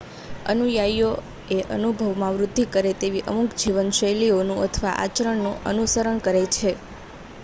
અનુયાયીઓ એ અનુભવોમાં વૃદ્ધિ કરે તેવી અમુક જીવનશૈલીઓનું અથવા આચરણનું અનુસરણ કરે છે